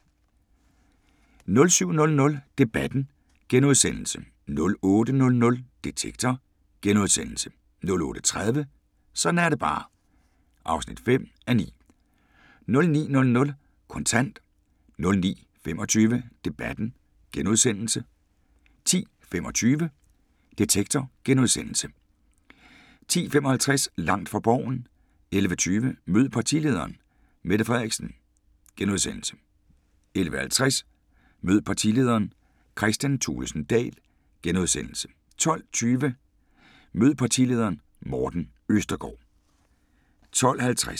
07:00: Debatten * 08:00: Detektor * 08:30: Sådan er det bare (5:9) 09:00: Kontant 09:25: Debatten * 10:25: Detektor * 10:55: Langt fra Borgen 11:20: Mød partilederen: Mette Frederiksen * 11:50: Mød partilederen: Kristian Thulesen Dahl * 12:20: Mød partilederen: Morten Østergaard *